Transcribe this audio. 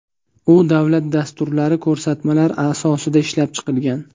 U davlat dasturlari, ko‘rsatmalar asosida ishlab chiqilgan.